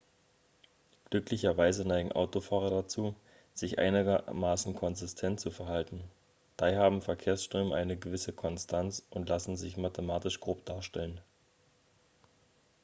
glücklicherweise neigen autofahrer dazu sich einigermaßen konsistent zu verhalten daher haben verkehrsströme eine gewisse konstanz und lassen sich mathematisch grob darstellen